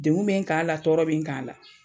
Dengun be n kan a la tɔɔrɔ be n kan a la